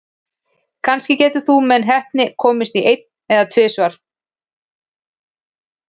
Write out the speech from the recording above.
Kannski getur þú með heppni komist í einn, en tvisvar?